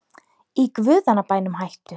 Í guðanna bænum hættu